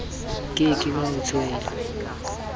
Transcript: ke ke ha o tswela